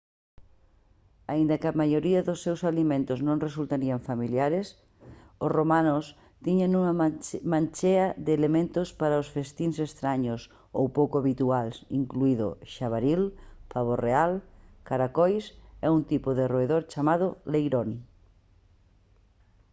aínda que a maioría dos seus alimentos nos resultarían familiares os romanos tiñan unha manchea de elementos para os festíns estraños ou pouco habituais incluído xabaril pavo real caracois e un tipo de roedor chamado leirón